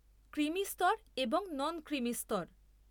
Creamy স্তর এবং non creamy স্তর।